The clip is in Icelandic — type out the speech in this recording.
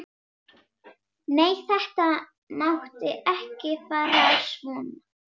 Nei, þetta mátti ekki fara svona.